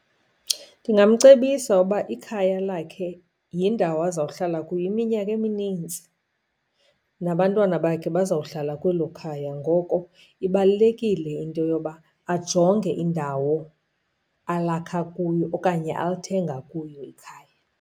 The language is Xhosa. Ndingamcebisa uba ikhaya lakhe yindawo azawuhlala kuyo iminyaka eminintsi, nabantwana bakhe bazawuhlala kwelo khaya. Ngoko ibalulekile into yoba ajonge indawo alakha kuyo okanye alithenga kuyo ikhaya.